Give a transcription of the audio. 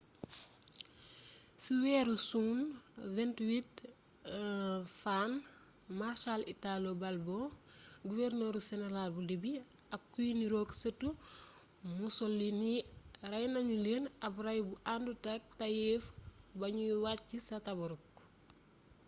ci weeru suwn 28 fann marshal italo balbo guwernor seneral bu libi ak kuy niroog sëtu mussolini rey nanu leen ab ray bu anutak tayeef ba ñuy wàcc ca tobruk